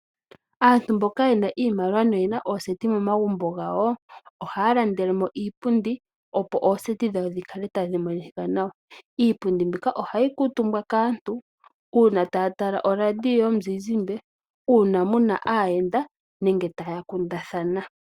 Aanru mboka yena iimaliwa na oyena ooseti momagumbo gawo, ohaya landele mo iipundi opo. ooseti dhawo dhi kale tadhi monika nawa. Iipundi mbika ohayi kaantu uuna taya tala oraidio yomuzizimba, uuna muna aayenda nenge taya kundathana.